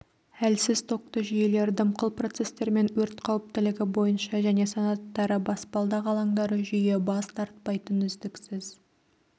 әлсіз токты жүйелер дымқыл процестермен өрт қауіптілігі бойынша және санаттары баспалдақ алаңдары жүйе бас тартпайтын үздіксіз